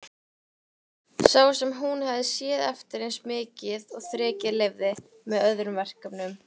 Sá sem hún hafði séð eftir eins mikið og þrekið leyfði, með öðrum verkefnum.